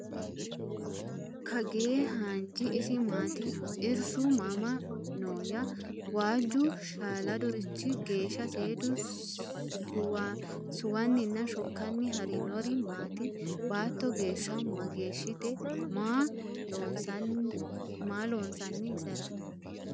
Kagee hannijji isi maatti? Irishu mama nooya? Waaujju shaaladurichi geesha seedu suwaniinna shokkani harinnori maati? Baatto geesha ma geeshitte? Maa loosanni isera?